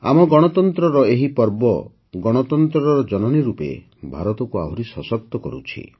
ଆମ ଗଣତନ୍ତ୍ରର ଏହି ପର୍ବ ଗଣତନ୍ତ୍ରର ଜନନୀ ରୂପେ ଭାରତକୁ ଆହୁରି ସଶକ୍ତ କରୁଛି